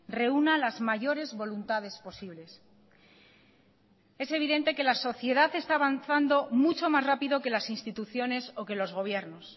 reúna las mayores voluntades posibles es evidente que la sociedad está avanzando mucho más rápido que las instituciones o que los gobiernos